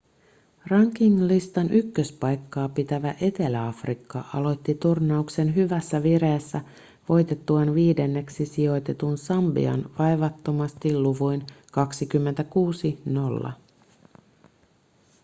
ranking-listan ykköspaikkaa pitävä etelä-afrikka aloitti turnauksen hyvässä vireessä voitettuaan viidenneksi sijoitetun sambian vaivattomasti luvuin 26-0